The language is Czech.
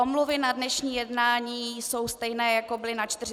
Omluvy na dnešní jednání jsou stejné, jako byly na 42. schůzi.